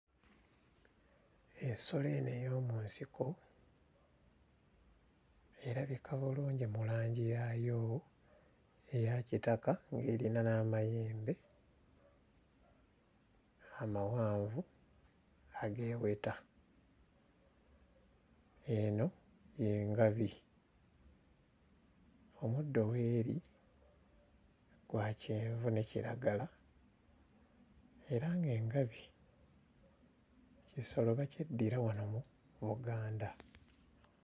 Ensolo eno ey'omu nsiko erabika bulungi mu langi yaayo eya kitaka ng'erina n'amayembe amawanvu ageeweta, eno y'engabi. Omuddo w'eri gwa kyenvu ne kiragala era ng'engabi kisolo bakyeddira wano mu Buganda.